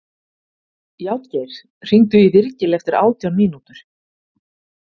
Játgeir, hringdu í Virgil eftir átján mínútur.